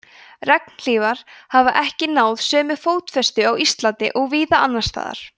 regnhlífar hafa ekki náð sömu fótfestu á íslandi og víða annars staðar